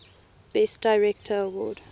best director award